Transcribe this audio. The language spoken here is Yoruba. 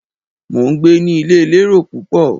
Mo ń gbé ní ilé elérò púpọ̀.